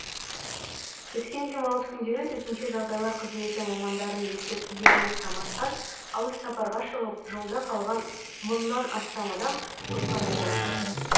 өткен демалыс күндері төтенше жағдайлар қызметі мамандарының ескертулеріне қарамастан алыс сапарға шығып жолда қалған мыңнан астам адам құтқарылды